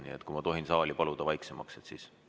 Nii et kui ma tohin saali paluda vaiksemaks, siis ...